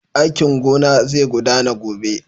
Aikin gona zai gudana gobe.